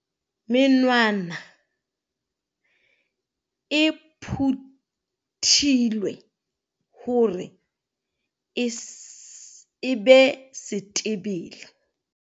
Menwana e phuthilwe hore e be setebele.